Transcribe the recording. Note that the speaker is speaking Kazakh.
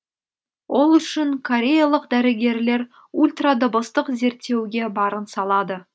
ол үшін кореялық дәрігерлер ультрадыбыстық зерттеуге барын салады